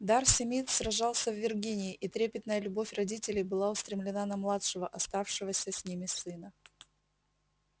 дарси мид сражался в виргинии и трепетная любовь родителей была устремлена на младшего оставшегося с ними сына